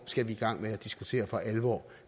skal vi i gang med at diskutere for alvor